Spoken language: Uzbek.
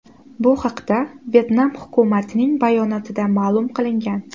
Bu haqda Vyetnam hukumatining bayonotida ma’lum qilingan .